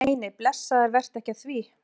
Nei, nei, blessaður, vertu ekki að því.